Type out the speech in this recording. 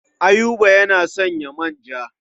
Ayuba yana sayan manja.